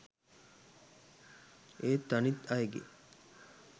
ඒත් අනිත් අයගේ